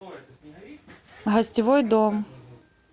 гостевой дом